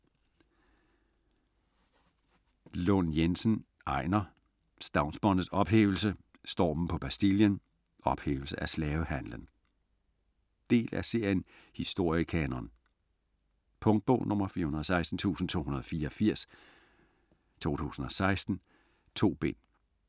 Lund Jensen, Einar: Stavnsbåndets ophævelse, Stormen på Bastillen, Ophævelse af slavehandlen Del af serien Historiekanon. Punktbog 416284 2016. 2 bind.